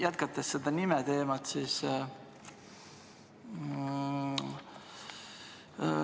Jätkan nime teemal.